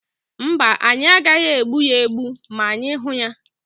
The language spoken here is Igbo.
Mba, anyị agaghị egbu ya egbu ma anyị hụ ya,.